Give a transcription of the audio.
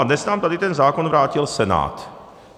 A dnes nám tady ten zákon vrátil Senát.